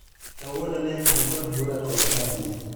Kawuono ne an kod bura kod Abdi